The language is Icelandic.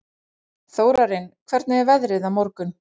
Þórarinn, hvernig er veðrið á morgun?